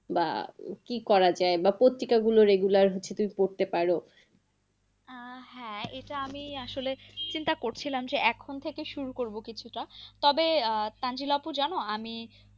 বা কি করা যায়। বা পত্রিকা গুলো regular হচ্ছে তুমি পড়তে পারো। আহ হ্যাঁ এটা আমি আসলে চিন্তা করছিলাম যে এখন থেকে শুরু করব কিছুটা। তবে তানজিল আপু জানো, আমি